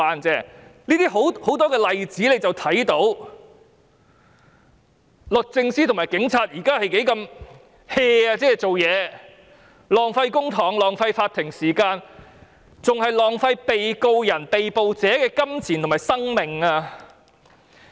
從很多例子看到，律政司和警察現時做事不認真，浪費公帑和法庭時間，更浪費被告人、被捕者的金錢和生命。